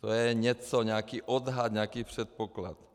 To je něco, nějaký odhad, nějaký předpoklad.